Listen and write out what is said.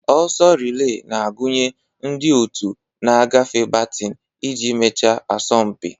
Oso relee na-agụnye ndị otu na-agafe batin iji mechaa asọmpi.